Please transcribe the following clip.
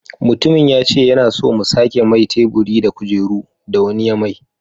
Mutumin yace yana so mu sake mai teburi da kujeru. da wani ya mai